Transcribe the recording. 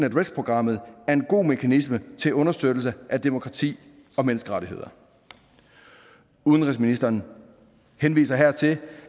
at risk programmet er en god mekanisme til understøttelse af demokrati og menneskerettigheder udenrigsministeren henviser her til